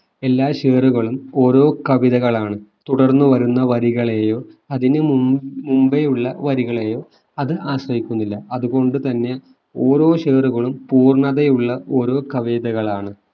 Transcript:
എല്ലാ ഷേറുകളും ഓരോ കവിതകളാണ് തുടർന്ന് വരുന്ന വരികളെയോ അതിനു മും മുമ്പെയുള്ള വരികളെയോ അത് ആശ്രയിക്കുന്നില്ല അതുകൊണ്ടുതന്നെ ഓരോ ഷേറുകളും പൂർണതയുള്ള ഓരോ കവിതകളാണ്